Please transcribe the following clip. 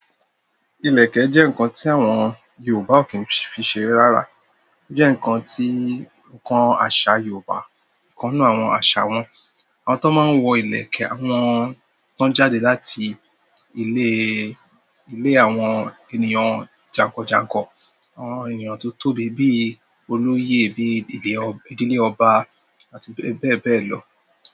Ilẹ̀kẹ̀ jẹ́ nǹkan tí àwọn Yorùbá ò kí n fi ṣeré rárá. Ó jẹ́ nǹkan tí, nǹkan àṣà Yorùbá, ìkan nu àwọn àṣà wọn. Àwọn tó máa ń wọ ìlẹ̀kẹ̀, àwọn tó ń jáde láti ilé, ilé àwọn ènìyàn jànkànjànkàn, àwọn ènìyàn tó tóbi bíi olóyè, bí ìdílé ọba àti bẹ́ẹ̀ bẹ́ẹ̀ lọ.